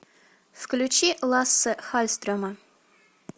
включи лассе халльстрема